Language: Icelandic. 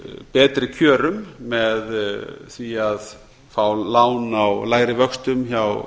betri kjörum með því að fá lán á lægri vöxtum hjá